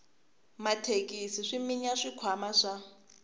mathekisi swi minya swikhwama swa